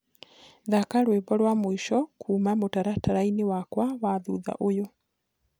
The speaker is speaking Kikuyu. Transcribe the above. thaka rwĩmbo rwa mwĩsho kũũma mũtarataraĩnĩ wakwa wa thũthaũyũ